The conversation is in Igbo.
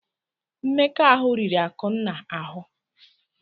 Mmekọahụ riri Akụnna ahụ.